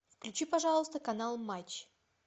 включи пожалуйста канал матч